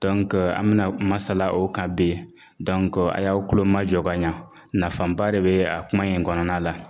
an bɛna masala o kan bi a y'aw kulo majɔ ka ɲa nafaba de be a kuma in okɔnɔna la.